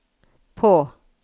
på